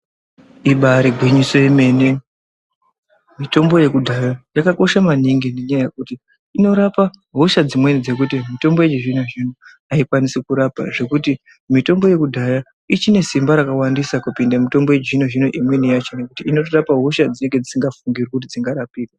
Ibairi ngwinyiso yemene mitombo yekudhaya yakakosha maningi nenyaya yekuti inorapa hosha dzimweni dzekuti mitombo yechi zvino aikwanisi kurapa zvekuti mitombo yeku dhaya ichine simba raka randisa kupinda mitombo yechi zvino zvino imweni yacho nokuti inoto rapa hosha dzinenge dzisinga fungirwi kuti dzinga rapiwe.